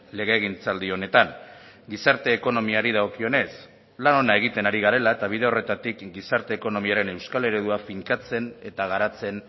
legegintzaldi honetan gizarte ekonomiari dagokionez lan ona egiten ari garela eta bide horretatik gizarte ekonomiaren euskal eredua finkatzen eta garatzen